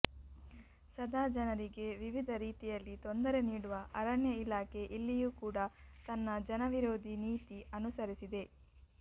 ಸದಾ ಜನರಿಗೆ ವಿವಿಧ ರೀತಿಯಲ್ಲಿ ತೊಂದರೆ ನೀಡುವ ಅರಣ್ಯ ಇಲಾಖೆ ಇಲ್ಲಿಯೂ ಕೂಡ ತನ್ನ ಜನವಿರೋಧಿ ನೀತಿ ಅನುಸರಿಸಿದೆ